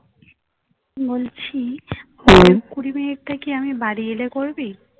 বলছি কুড়ি minute থেকে আমি বাড়ি এলে করবি